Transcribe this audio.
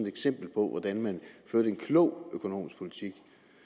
eksempel på hvordan man førte en klog økonomisk politik